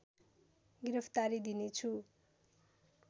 गिरफ्तारी दिने छु